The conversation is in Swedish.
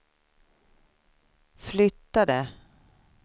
flyttade